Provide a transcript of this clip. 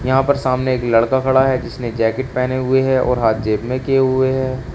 यहां पर सामने एक लड़का खड़ा है जिसने जैकेट पहने हुए है और हाथ जेब में किए हुए है।